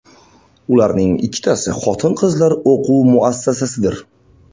Ularning ikkitasi xotin-qizlar o‘quv muassasasidir.